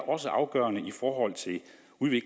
også er afgørende